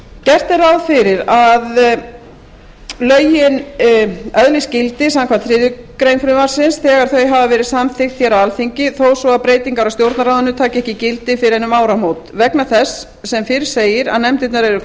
gert er ráð fyrir að lögin öðlist gildi samkvæmt þriðju greinar frumvarpsins þegar þau hafa verið samþykkt á alþingi þó svo breytingar á stjórnarráðinu taki gildi ekki gildi fyrr en um áramót vegna þess sem fyrr segir að nefndirnar eru